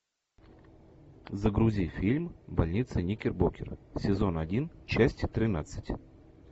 загрузи фильм больница никербокер сезон один часть тринадцать